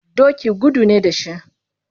Doki gudu ne da shi.